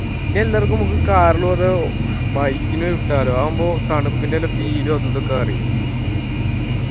ഇനി ഇല്ലേ നമ്മുക്ക് car ല് പകരം bike ന് വിട്ടാലോ അതാവുമ്പോ തണുപ്പിന്റെ എല്ല feel ഉ അതു ഇതൊക്കെ അറിയും